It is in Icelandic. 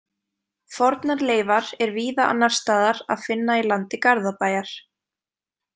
Fornar leifar er víða annars staðar að finna í landi Garðabæjar.